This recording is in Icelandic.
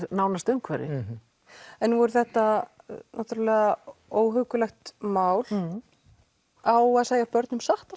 nánasta umhverfi nú er þetta óhuggulegt mál á að segja börnum satt